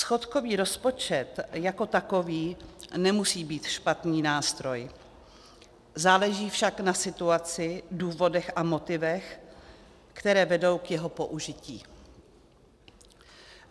Schodkový rozpočet jako takový nemusí být špatný nástroj, záleží však na situaci, důvodech a motivech, které vedou k jeho použití.